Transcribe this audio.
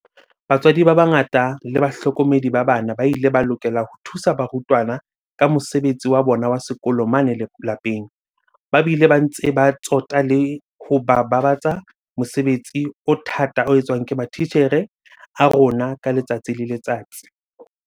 Batswadi ba bangata le bahlokomedi ba bana ba ile ba lokela ho thusa barutwana ka mosebetsi wa bona wa sekolo mane lapeng, ba bile ba ntse ba tsota le ho babatsa mosebetsi o thata o etswang ke matitjhere a rona ka letsatsi le letsatsi.